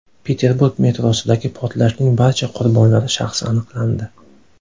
Peterburg metrosidagi portlashning barcha qurbonlari shaxsi aniqlandi.